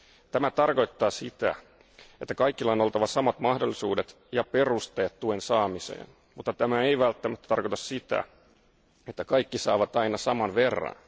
Tämä tarkoittaa sitä, että kaikilla on oltava samat mahdollisuudet ja perusteet tuen saamiseen, mutta tämä ei välttämättä tarkoita sitä, että kaikki saavat aina saman verran.